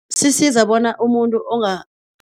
Sisiza bona umuntu